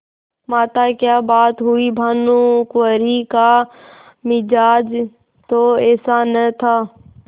माताक्या बात हुई भानुकुँवरि का मिजाज तो ऐसा न था